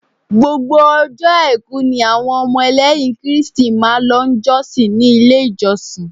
Gbogbo ọjọ́ àìkú ni àwọn ọmọ lẹ́yìn Kristi máa lọ jọ́sìn ni ilé ìjọsìn.